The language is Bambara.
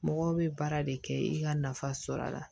Mɔgɔw bɛ baara de kɛ i ka nafa sɔrɔla la